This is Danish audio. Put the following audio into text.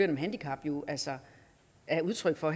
med handicap jo altså er udtryk for